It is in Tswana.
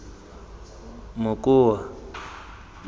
mokoa